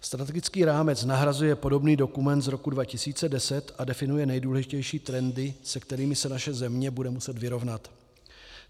Strategický rámec nahrazuje podobný dokument z roku 2010 a definuje nejdůležitější trendy, se kterými se naše země bude muset vyrovnat.